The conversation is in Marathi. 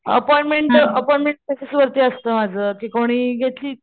अपॉइंटमेंट अपॉइंटमेंट बेसिस वरती असत माझं कि कोणी घेतलीच,